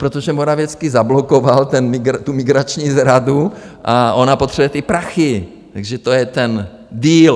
Protože Morawiecki zablokoval tu migrační zradu a ona potřebuje ty prachy, takže to je ten Deal.